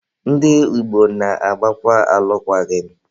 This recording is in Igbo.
Ndị Igbo na-agbakwa alụkwaghị m